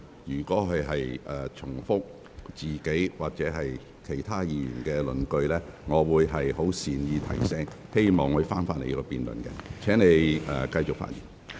若議員重複自己或其他議員的論據，我會作出善意提醒，請他返回辯論的議題。